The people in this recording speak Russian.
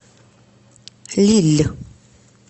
лилль